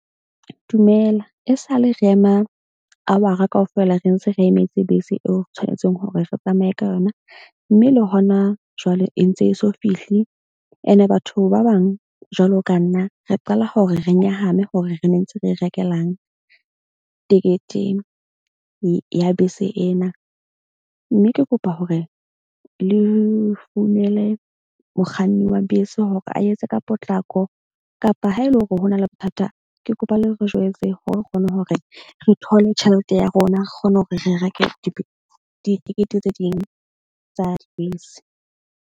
Dumela e sale re ema hour-a kaofela re ntse re emetse bese eo re tshwanetseng hore re tsamaye ka yona. Mme le hona jwale e ntse e so fihle ene batho ba bang. Jwalo ka nna re qala ho re re nyahame hore re ne ntse re rekelang tekete ya bese ena. Mme ke kopa hore le founele mokganni wa bese hore a etse ka potlako kapa ha ele hore hona le bothata. Ke kopa le re jwetse hore re kgone hore re thole tjhelete ya rona, re kgone hore re reke ditekete tse ding tsa dibese.